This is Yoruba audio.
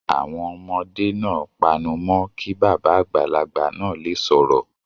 Àwọn ọmọdé náà panu mọ́ kí bàbá àgbàlagbà náà le sọ̀rọ̀.